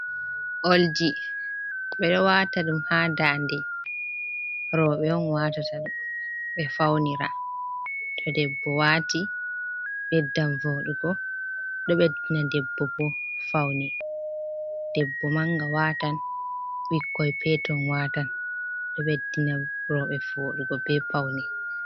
Oldi, ɓedo wata dum ha ndanɗe. Roɓe on wata dum, be faunira. To debbo wati, beddan vodugo, do beddina debbo bo faune. Debbo manga watan, ɓikkon peton watan. Ɗo ɓeddina roɓe vodugo be paune